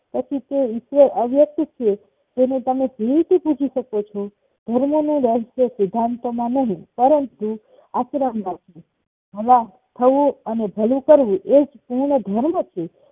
પછી તો તે ઈચ્છે અવ્યસ્થિત છેતેને તમે દિલથી પુજિસકો છો ધર્મ નું રહસ્ય સિદ્ધાંતોમાં નહીં પરંતુ આશ્રમ માં હવા થવું અને ભલું કરવું એ જ પૂર્ણધર્મ છે